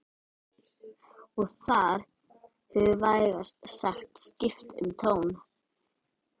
Og þar hefur vægast sagt skipt um tón